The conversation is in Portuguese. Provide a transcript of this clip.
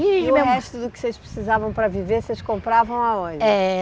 E o resto do que vocês precisavam para viver, vocês compravam aonde? Eh